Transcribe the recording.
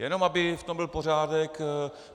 Jenom aby v tom byl pořádek.